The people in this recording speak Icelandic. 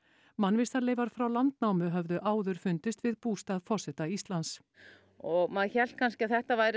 mannvistarleifar frá landnámi höfðu áður fundist við bústað forseta Íslands og maður hélt kannski að þetta væri